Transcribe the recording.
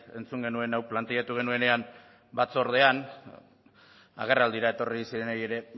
entzun genuen hau planteatu genuenean batzordean agerraldira etorri zirenei ere